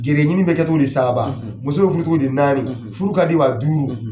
Gɛrijɛgɛ ɲini bɛ kɛ togo di saaba ? muso bɛ furu cogo di naani, furu ka di wa ? duuru.